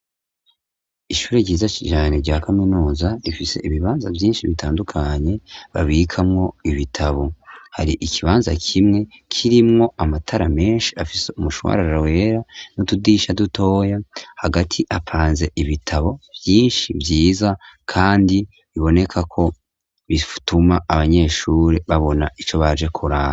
ishure ryiza cane rya kaminuza rifise ibibanza vyinshi bitandukanye babikamwo ibitabo, hari ikibanza kimwe kirimwo amatara menshi afise umushwarar wera n'utudirisha dutoya , hagati hapanze ibitabo vyinshi vyiza kandi, biboneka ko bituma abanyeshuri babona ico baje kuraba.